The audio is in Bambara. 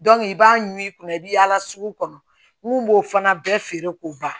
i b'a ɲimi i kunna i bɛ yaala sugu kɔnɔ n b'o fana bɛɛ feere k'o ban